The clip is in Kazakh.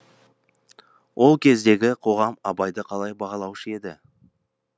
ол кездегі қоғам абайды қалай бағалаушы еді